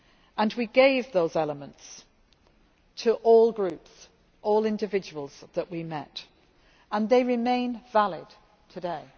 And we gave those elements to all groups, all individuals that we met and they remain valid today